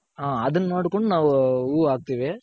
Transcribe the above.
ಹ್ಮ್ ಅದನ್ ನೋಡ್ಕೊಂಡ್ ನಾವ್ ಹೂ ಹಾಕ್ತಿವಿ.